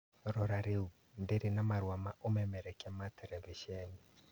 Rora rĩu, ndirĩ na marũa ma ũmemerekia ma terebiceni